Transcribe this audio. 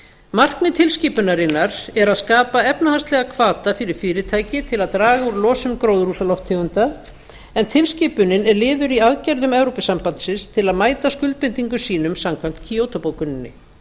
markmið tilskipunarinnar er að skapa efnahagslegan hvata fyrir fyrirtækið til að draga úr losun gróðurhúsalofttegunda en tilskipunin er liður í aðgerðum evrópusambandsins til að mæta skuldbindingum sínum samkvæmt kyoto bókuninni